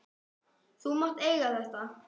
Þú mátt eiga þetta.